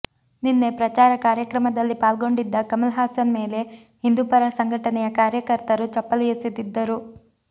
ನಿನ್ನೆ ಪ್ರಚಾರ ಕಾರ್ಯಕ್ರಮದಲ್ಲಿ ಪಾಲ್ಗೊಂಡಿದ್ದ ಕಮಲ್ ಹಾಸನ್ ಮೇಲೆ ಹಿಂದೂಪರ ಸಂಘಟನೆಯ ಕಾರ್ಯಕರ್ತರು ಚಪ್ಪಲಿ ಎಸೆದಿದ್ದರು